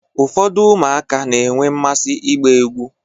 Ụfọdụ ụmụaka na-enwe mmasị ịgba egwu.